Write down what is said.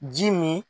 Ji min